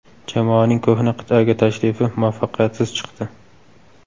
Jamoaning ko‘hna qit’aga tashrifi muvaffaqiyatsiz chiqdi.